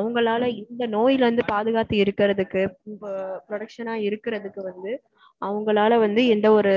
அவங்களால வந்து இந்த நோய்ல இருந்து பாதுகாத்து இருக்கறதுக்கு இப்போ protection னா இருக்கறதுக்கு வந்து அவங்களால வந்து எந்த ஒரு